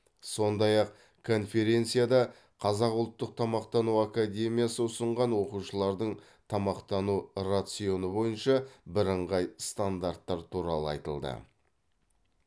сондай ақ конференцияда қазақ ұлттық тамақтану академиясы ұсынған оқушылардың тамақтану рационы бойынша бірыңғай стандарттар туралы айтылды